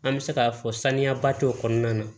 An bɛ se k'a fɔ saniyaba t'o kɔnɔna na